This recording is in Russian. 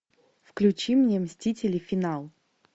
включи мне мстители финал